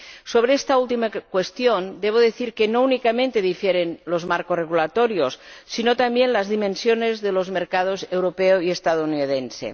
Sobre esta última cuestión debo decir que no difieren únicamente los marcos regulatorios, sino también las dimensiones de los mercados europeo y estadounidense.